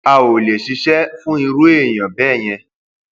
a ò lè ṣiṣẹ fún irú èèyàn bẹẹ yẹn